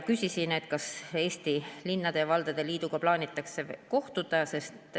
Küsisin, kas Eesti Linnade ja Valdade Liiduga plaanitakse kohtuda.